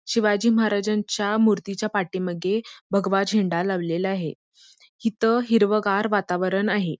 शिवाजी महाराज्यांच्या मूर्तीच्या पाठीमागे भगवा झेंडा लावलेला आहे हिथं हिरवागार वातावरण आहे.